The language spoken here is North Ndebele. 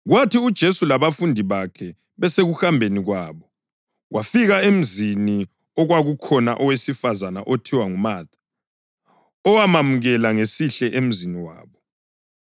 Kwathi uJesu labafundi bakhe besekuhambeni kwabo, wafika emzini okwakukhona owesifazane othiwa nguMatha, owamamukela ngesihle emzini wabo.